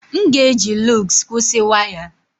M ga-eji lugs kwụsị waya.